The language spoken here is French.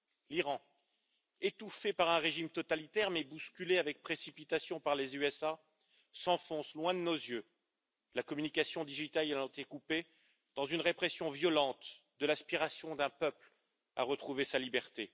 L'Iran, étouffé par un régime totalitaire mais bousculé avec précipitation par les États Unis, s'enfonce loin de nos yeux, la communication numérique ayant été coupée, dans une répression violente de l'aspiration d'un peuple à retrouver sa liberté.